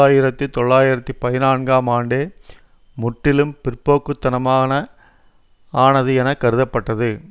ஆயிரத்தி தொள்ளாயிரத்தி பதினான்கும் ஆண்டே முற்றிலும் பிற்போக்கு தனமான ஆனது என கருதப்பட்டது